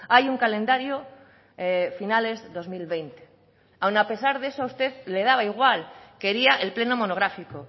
hay un calendario finales dos mil veinte aún a pesar de eso a usted le daba igual quería el pleno monográfico